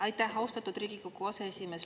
Aitäh, austatud Riigikogu aseesimees!